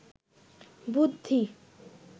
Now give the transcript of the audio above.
বুদ্ধি